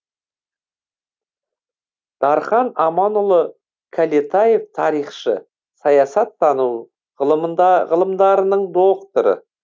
дархан аманұлы кәлетаев тарихшы саясаттану ғылымдарының докторы